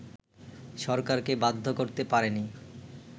সরকারকে বাধ্য করতে পারেনি